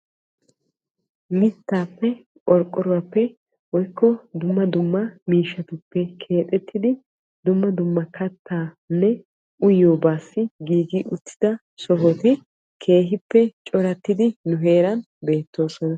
mittaappe qorqqoruwaappe woyikko dumma dumma miishshatuppe keexettidi dumma dumma kattaanne uyiyoobaassi giigi uttida sohoti keehippe corattidi nu heeran beettoosona.